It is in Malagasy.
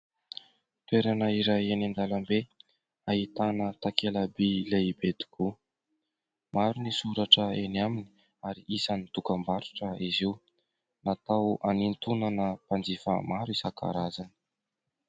Toerana iray eny an-dalambe ahitana takela-bỳ lehibe tokoa. Maro ny soratra eny aminy ary isan'ny dokam-barotra izy io. Natao hanintonana mpanjifa maro isan-karazany.